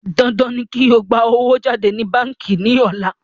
Dandan ni kí o gbà owó jáde ní báńkí ní ọ̀la